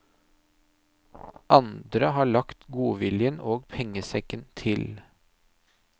Andre har lagt godviljen og pengesekken til.